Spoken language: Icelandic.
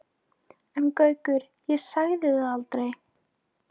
En Gaukur, ég sagði það aldrei